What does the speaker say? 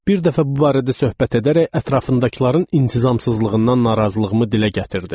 Bir dəfə bu barədə söhbət edərək ətrafındakıların intizamsızlığından narazılığımı dilə gətirdim.